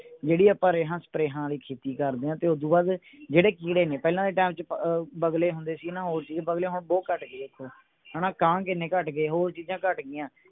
ਜਿਹੜੀ ਆਪਾਂ ਰੇਹਾਂ ਸਪ੍ਰੇਹਾਂ ਆਲੀ ਖੇਤੀ ਕਰਦੇ ਆ ਤੇ ਓਦੂੰ ਬਾਅਦ ਜਿਹੜੇ ਕੀੜੇ ਨੇ ਪਹਿਲਾਂ ਦੇ ਟੈਮ ਚ ਅਹ ਬਗੁਲੇ ਹੁੰਦੇ ਸੀ ਨਾ ਬਗਲੇ ਹੁਣ ਬਹੁਤ ਘੱਟ ਗਏ ਹਣਾ ਕਾਂ ਕਿੰਨੇ ਘੱਟ ਗਏ ਹੋਰ ਚੀਜਾਂ ਘੱਟ ਗਿਆਂ।